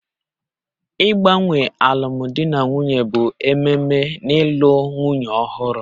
Ịgbanwe alụmdi na nwunye bụ ememe n'ịlụ nwunye ọhụrụ